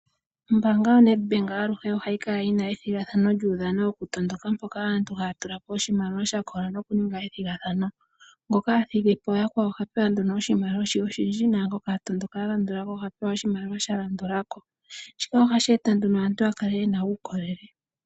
Ombaanga yoNedbank aluhe ohayi kala yina ethigathano lyuudhano woku tondoka, mpoka aantu haya tula po oshimaliwa sha kola noku ninga ethigathano. Ngoka athigipo yakwawo oha pewa nduno oshimaliwa she oshindji, naangoka atondoka alandulako oha pewa oshimaliwa sha landula ko. Shika ohashi eta nduno aantu ya kale yena uukolele.